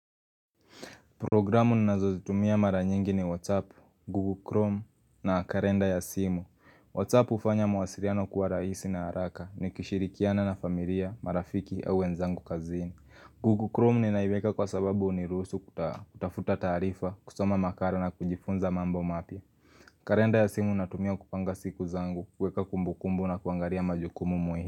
Programu ninazozitumia mara nyingi ni WhatsApp, Google Chrome na karenda ya simu WhatsApp ufanya mwasiliano kwa raisi na haraka ni kishirikiana na familia, marafiki au wenzangu kazini Google Chrome ninaiweka kwa sababu uniruhusu kutafuta taarifa, kusoma makala na kujifunza mambo mapya Karenda ya simu natumia kupanga siku zangu, kweka kumbukumbu na kuangaria majukumu muhimu.